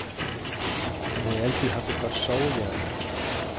Han havde altid haft et godt sovehjerte.